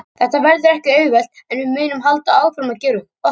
Þetta verður ekki auðvelt en við munum halda áfram að gera okkar.